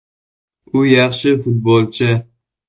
U yaxshi futbolchi.